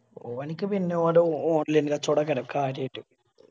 ഓനിക്ക് പിന്നെ ഓരോ modeling dress code ടൊക്കെ ആണ് കാര്യായിട്ട്